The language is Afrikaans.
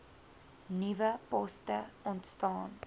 nuwe poste ontstaan